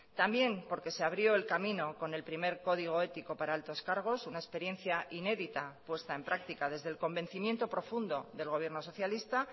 también porque se abrió el camino con el primer código ético para altos cargos una experiencia inédita puesta en práctica desde el convencimiento profundo del gobierno socialista